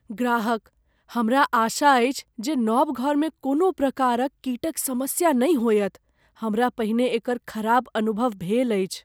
ग्राहकः "हमरा आशा अछि जे नव घरमे कोनो प्रकारक कीटक समस्या नहि होयत, हमरा पहिने एकर खराब अनुभव भेल अछि।"